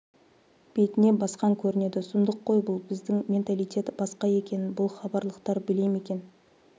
бетіне басқан көрінеді сұмдық қой бұл біздің менталитет басқа екенін бұл хабарлықтар біле ме екен